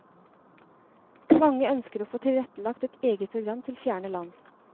Mange ønsker å få tilrettelagt et eget program til fjerne land.